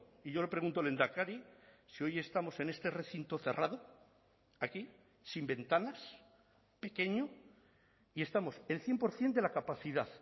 y yo le pregunto lehendakari si hoy estamos en este recinto cerrado aquí sin ventanas pequeño y estamos el cien por ciento de la capacidad